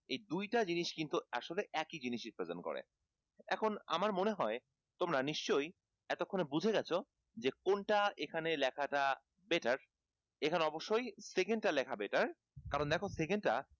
এই দুই টা জিনিস কিন্তু একই জিনিস represent করে এখন আমার মনে হয় তোমরা নিশ্চই এতক্ষনে বুঝে গেছো যে কোনটা এখানে লেখাটা better এখানে অবশ্যই second টা লেখা better কারণ দেখো second টা